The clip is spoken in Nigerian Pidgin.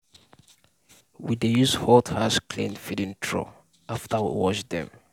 we dey use hot ash clean feeding trough after we wash dem.